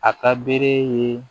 A ka bere ye